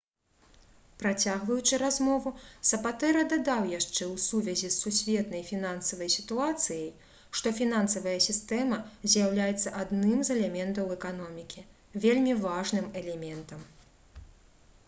працягваючы размову сапатэра дадаў яшчэ ў сувязі з сусветнай фінансавай сітуацыяй што «фінансавая сістэма з'яўляецца адным з элементаў эканомікі вельмі важным элементам»